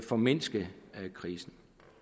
formindske krisen